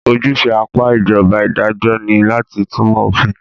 Ojúṣe apá ìjọba idajọ́ ní láti túnmọ̀ òfin.